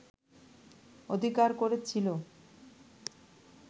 অধিকার করে ছিল